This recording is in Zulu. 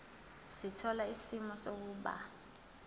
sithola isimo sokuba